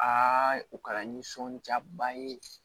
Aa u kɛra nisɔndiyaba ye